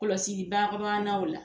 Kɔlɔsili o la